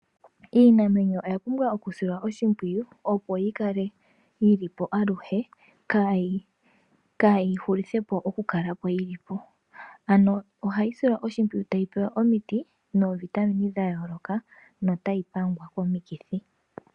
Iinamwenyo oya pumbwa oku silwa oshipwiyu opo yikale yilipo aluhe kayi hulithepo oku kalapo yilipo, ano ohayi silwa oshipwiyu tayi pewa omiti no vitamine dha yoloka notayi pangwa komikithi.